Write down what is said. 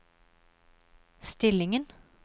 stillingen